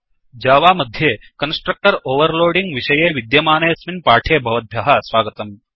Java मध्ये constructor overloading विषये विद्यमानेऽस्मिन् पाठे भवद्भ्यः स्वागतम्